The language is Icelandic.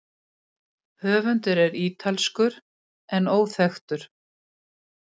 Höfundur er ítalskur en óþekktur.